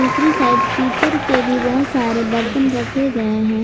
दूसरी साइड पीतल के बहुत सारे बर्तन रखे गए हैं।